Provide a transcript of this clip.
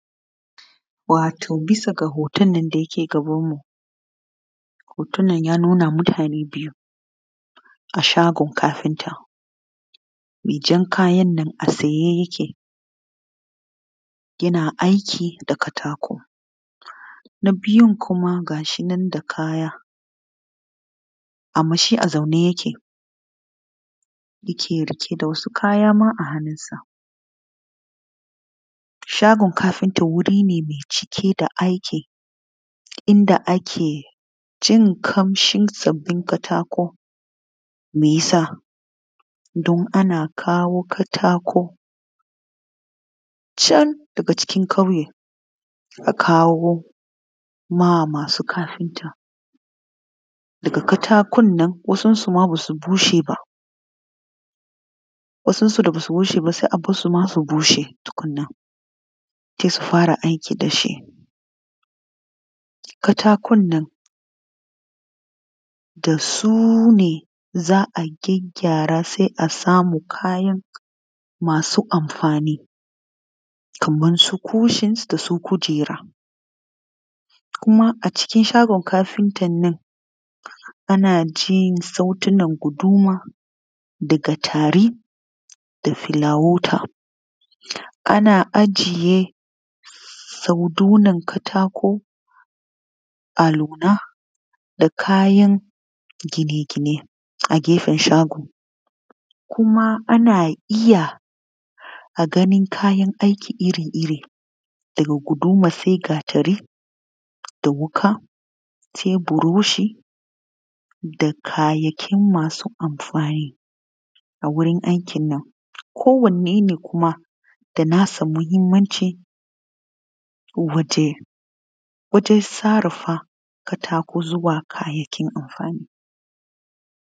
Wato bisa ga hoton nan da yake gabanmu, hoton ya nuna mutane biyu a shagon kafinta, mai jan kayan nan a tsaye yake yana aiki da katako. Na biyu kuma ga shi nan da kaya amma shi a zaune yake riƙe da wasu kaya ma a hannunsa. Shagon kafinta wuri ne da yake cike da aiki inda ake jin ƙamshin sabbin katako, meyasa don ana kawo katako cen daga cikin ƙauye a kawo ma masu kafinta. Daga katakon nan wasun su ma ba su bushe ba sai a bar su su bushe tukunna sai su fara aiki da shi. Katakon nan da su ne za a gyaggyara sai a samu kayan masu amfani kaman su cushions da su kujera, kuka a cikin shagon kafinta nan ana jin sautina guduma da tari da flawood Ana ajiye sandunan katako aluuna da kayan gine-gine a gafen shagon kuma ana iya ganin kayan aiki iri-iri daga guduma sai gatari da wuƙa sai buroshi da kayayyaki masu amfani a wurin aikin nan. Kowanne ne kuma da nasa mahimmanci a wajen sarrafa katako zuwa abun amfani.